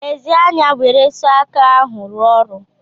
Lezi anya nwere sọ aka ahụ rụọ ọrụ.